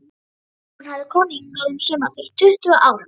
Hún hafði komið hingað um sumar fyrir tuttugu árum.